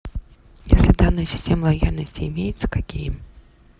если данные системы лояльности имеются какие